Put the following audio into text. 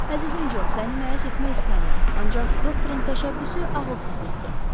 Əzizim Job, səni məyus etmək istəmirəm, ancaq doktorun təşəbbüsü ağılsızlıqdır.